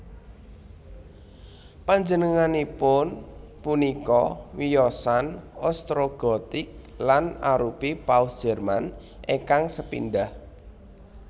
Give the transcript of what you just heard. Panjenenganipun punika wiyosan Ostrogotik lan arupi Paus Jerman ingkang sepindah